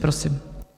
Prosím.